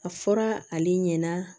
A fɔra ale ɲɛna